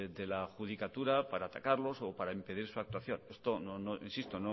de la judicatura para atacarlos o para impedir su actuación insisto